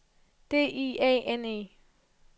D I A N E